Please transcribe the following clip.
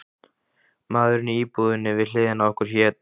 Maðurinn í íbúðinni við hliðina á okkur hét